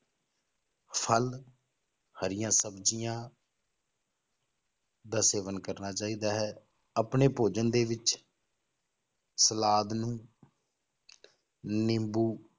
ਫਲ ਹਰੀਆਂ ਸਬਜ਼ੀਆਂ ਦਾ ਸੇਵਨ ਕਰਨਾ ਚਾਹੀਦਾ ਹੈ ਆਪਣੇ ਭੋਜਨ ਦੇ ਵਿੱਚ ਸਲਾਦ ਨੂੰ ਨਿੰਬੂ